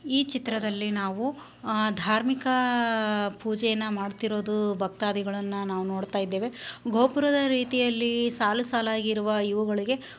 ಈ ಚಿತ್ರದಲ್ಲಿ ನಾವು ಅಹ್ ಧಾರ್ಮಿಕ ಪೂಜೆಯನ್ನು ಮಾಡ್ತಿರೋದು ಭಕ್ತಾದಿಗಳನ್ನ ನಾವ್ ನೋಡ್ತಾಯಿದ್ದೇವೆ ಗೋಪುರದ ರೀತಿಯಲ್ಲಿ ಸಾಲು ಸಾಲಾಗಿರುವ ಇವುಗಳಿಗೆ--